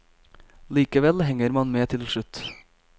Likevel henger man med til slutt.